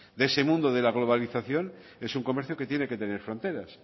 de ese mundo de la globalización es un comercio que tiene que tener fronteras